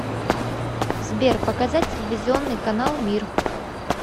сбер показать телевизионный канал мир